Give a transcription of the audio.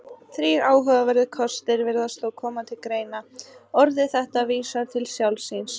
Þrír áhugaverðir kostir virðast þá koma til greina: Orðið þetta vísar til sjálfs sín.